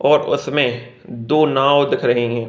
और उसमें दो नाव दिख रही हैं।